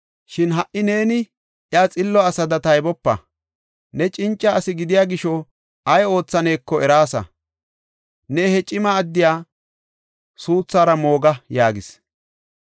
Shin ha77i neeni iya xillo asada taybopa. Ne cinca asi gidiya gisho ay oothaneko eraasa. Ne he cima addiya suuthara mooga” yaagis.